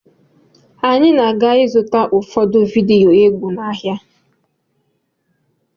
Anyị na-aga ịzụta ụfọdụ vidiyo egwu n'ahịa.